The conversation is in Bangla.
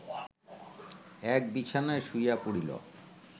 এক বিছানায় শুইয়া পড়িল